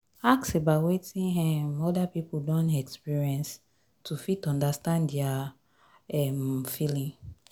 ask about wetin um oda pipo don experience to fit understand their um feeling